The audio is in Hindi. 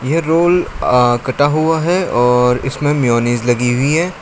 ये रोल कटा हुआ है और इसमें मेयोनेज़ लगी हुई है।